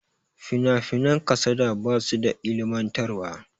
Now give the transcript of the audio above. finafinan kasada ba su da ilimantarwa